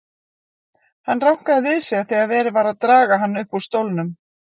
Hann rankaði við sér þegar verið var að draga hann upp úr stólnum.